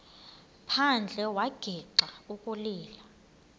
phandle wagixa ukulila